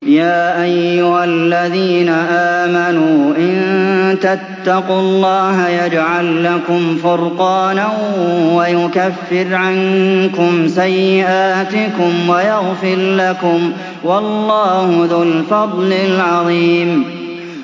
يَا أَيُّهَا الَّذِينَ آمَنُوا إِن تَتَّقُوا اللَّهَ يَجْعَل لَّكُمْ فُرْقَانًا وَيُكَفِّرْ عَنكُمْ سَيِّئَاتِكُمْ وَيَغْفِرْ لَكُمْ ۗ وَاللَّهُ ذُو الْفَضْلِ الْعَظِيمِ